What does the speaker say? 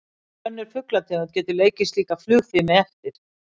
Engin önnur fuglategund getur leikið slíka flugfimi eftir.